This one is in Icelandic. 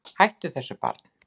Hættu þessu barn!